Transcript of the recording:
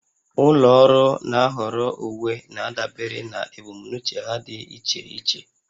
Ụlọ ọrụ na-ahọrọ uwe na-adabere na ebumnuche ha dị iche iche